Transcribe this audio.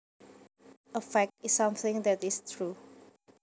A fact is something that is true